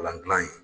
Kalan dilan ye